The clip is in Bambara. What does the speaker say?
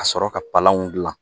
Ka sɔrɔ ka palan gilan